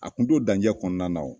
A kun to danjɛ kɔnɔna